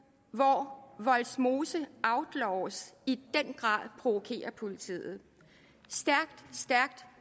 hvor vollsmose outlaws i den grad provokerer politiet